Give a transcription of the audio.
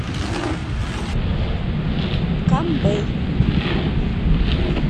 камбэй